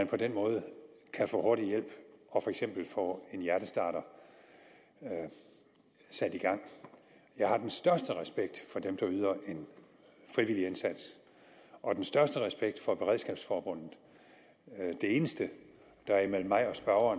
på den måde kan få hurtig hjælp og for eksempel få en hjertestarter sat i gang jeg har den største respekt for dem der yder en frivillig indsats og den største respekt for beredskabsforbundet det eneste der er imellem mig og